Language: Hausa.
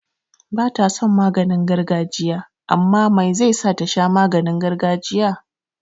Bata son maganin gargajiya amma mai zai sa tasha maganin gargajiya?